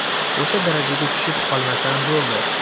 O‘sha darajaga tushib qolmasam bo‘ldi.